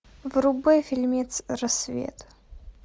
врубай фильмец рассвет